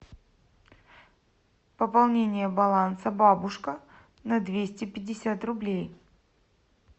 пополнение баланса бабушка на двести пятьдесят рублей